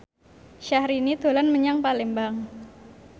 Syahrini dolan menyang Palembang